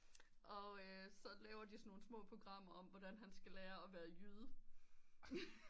Og øh så laver de sådan nogen små programmer om hvordan han skal lære at være jyde